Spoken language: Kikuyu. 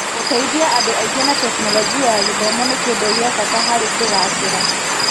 Gũteithia andũ aingĩ na Tekinoronjĩ ya Gĩthomo nĩ Kĩndũ gĩa bata harĩ kũgacĩra.